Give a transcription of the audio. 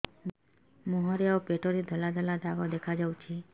ମୁହଁରେ ଆଉ ପେଟରେ ଧଳା ଧଳା ଦାଗ ଦେଖାଯାଉଛି